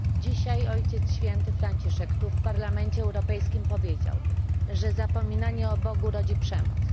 Dzisiaj Ojciec Święty Franciszek tu w Parlamencie Europejskim powiedział, że zapominanie o Bogu rodzi przemoc.